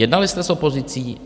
Jednali jste s opozicí.